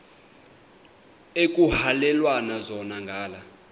ekuhhalelwana zona ngala